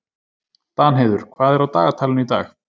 Danheiður, hvað er á dagatalinu í dag?